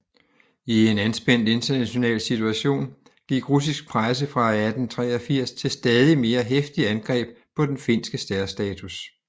I en anspændt international situation gik russisk presse fra 1883 til stadig mere heftige angreb på den finske særstatus